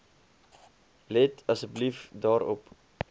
let asseblief daarop